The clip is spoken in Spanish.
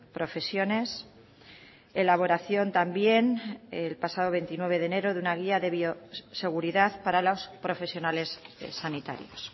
profesiones elaboración también el pasado veintinueve de enero de una guía de bioseguridad para los profesionales sanitarios